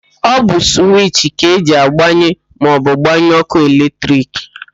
Ọ bụ suwichi ka eji agbanye maọbụ gbanyụọ ókụ́ eletrik.